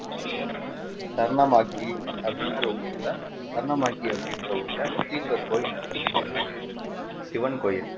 தருணமாக்கி அப்படின்ற ஊருல தருணமாக்கி அப்படின்ற ஊருல கோயில்ல சிவன் கோயில்